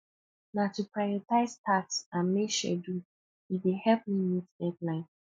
na to prioritize tasks and make schedule e dey help me meet deadline